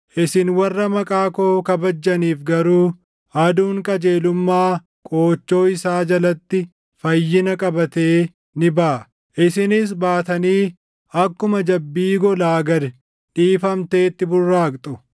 Isin warra maqaa koo kabajjaniif garuu Aduun qajeelummaa qoochoo isaa jalatti fayyina qabatee ni baʼa. Isinis baatanii akkuma jabbii golaa gad dhiifamteetti burraaqxu.